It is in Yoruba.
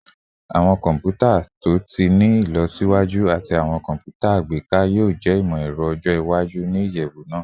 Awọn kọnputa to ti ni ilọsiwaju ati awọn kọnputa agbeka yoo jẹ imọ-ẹrọ ọjọ iwaju ni iyẹwu naa